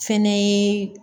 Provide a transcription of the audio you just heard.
Fɛnɛ ye